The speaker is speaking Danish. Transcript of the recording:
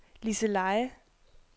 Liseleje